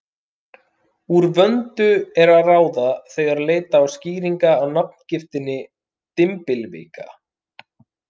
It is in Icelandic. Úr vöndu er að ráða, þegar leita á skýringa á nafngiftinni dymbilvika.